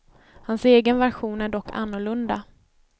Hans egen version är dock annorlunda.